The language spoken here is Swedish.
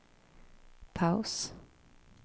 paus